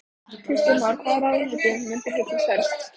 Kristján Már: Hvaða ráðuneyti mun þér hugnast helst?